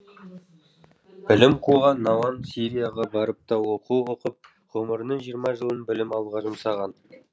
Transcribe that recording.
білім қуған науан сирияға барып та оқу оқып ғұмырының жиырма жылын білім алуға жұмсаған